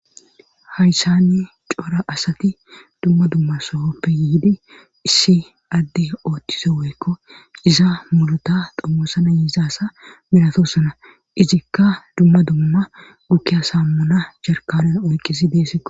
hayssanni cora asati dumma dumma sohoppe yiidi issi adde ooththize weykko iza mulota dommosana yiizaasa minatossana izikka dumma dumma gukki asammuna jarkanan oyqqisi deesseko